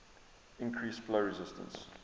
increase flow resistance